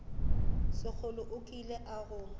sekgole o kile a go